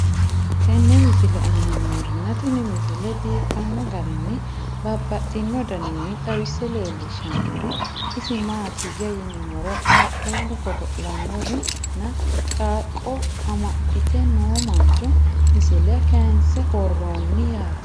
tenne misile aana noorina tini misile biiffanno garinni babaxxinno daniinni xawisse leelishanori isi maati yinummoro qaaqqullu godo'lannori nna qaaqqo amaxxitte noo mancho misile kaayinse woroonni yaatte